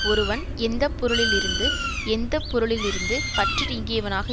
ஒருவன் எந்த பொருளிலிருந்து எந்த பொருளிலிருந்து பற்று நீங்கியவனாக